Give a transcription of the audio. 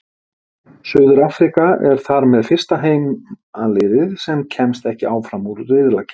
Suður-Afríka er þar með fyrsta heimaliðið sem kemst ekki áfram úr riðlakeppni.